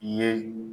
I ye